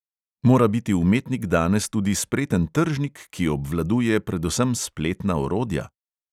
Mora biti umetnik danes tudi spreten tržnik, ki obvladuje predvsem spletna orodja?